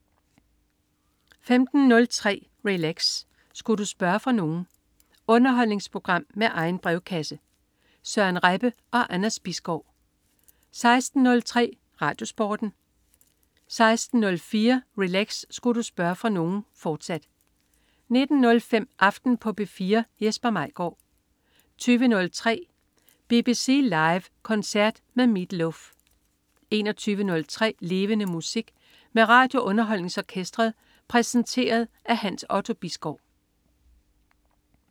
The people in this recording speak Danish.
15.03 Relax. Sku' du spørge fra nogen? Underholdningsprogram med egen brevkasse. Søren Rebbe og Anders Bisgaard 16.03 RadioSporten 16.04 Relax. Sku' du spørge fra nogen?, fortsat 19.05 Aften på P4. Jesper Maigaard 20.03 BBC Live koncert med Meat Loaf 21.03 Levende Musik. Med RadioUnderholdningsOrkestret. Præsenteret af Hans Otto Bisgaard